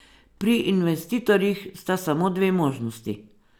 Pri investitorjih sta samo dve možnosti.